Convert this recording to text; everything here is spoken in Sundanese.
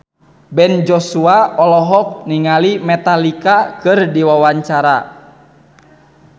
Ben Joshua olohok ningali Metallica keur diwawancara